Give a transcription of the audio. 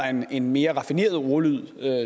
en mere raffineret ordlyd